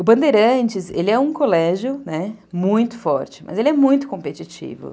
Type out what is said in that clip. O Bandeirantes é um colégio, né, muito forte, mas ele é muito competitivo.